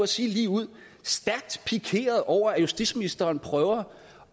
sige ligeud stærkt pikeret over at justitsministeren prøver